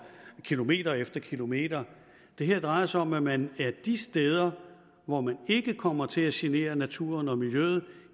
kilometer efter kilometer det her drejer sig om at man de steder hvor man ikke kommer til at genere naturen og miljøet